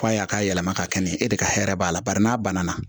F'a ye a ka yɛlɛma ka kɛ e de ka hɛrɛ b'a la bari n'a banna